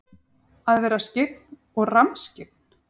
Að vera skyggn og rammskyggn?